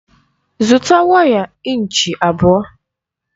Zụta waya ịnchị abụọ!